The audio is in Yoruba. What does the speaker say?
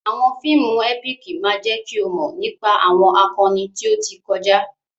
Àwọn fíìmù ẹ́píìkì máa jẹ́ kí o mọ̀ nípa àwọn akọni tí ó ti kọjá.